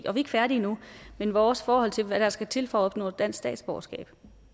ikke færdige endnu hvad vores forhold til hvad der skal til for at opnå dansk statsborgerskab